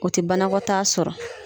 O tɛ banakɔtaa sɔrɔ.